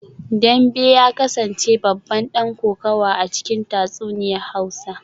Dambe ya kasance babban dan kokawa a cikin tatsuniyar hausa